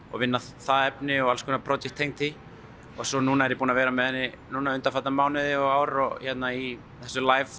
og vinna það efni og alls konar tengd því og svo núna er ég búinn að vera með henni undanfarna mánuði og ár í þessu